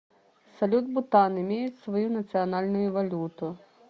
салют бутан имеет свою национальную валюту